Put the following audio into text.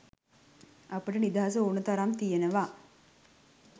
අපට නිදහස ඕන තරම් තියෙනවා.